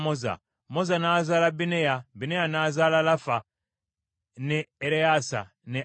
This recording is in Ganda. Moza n’azaala Bineya, Bineya n’azaala Lafa, ne Ereyaasa ne Azeri.